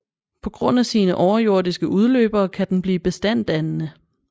På grund af sine overjordiske udløbere kan den blive bestanddannende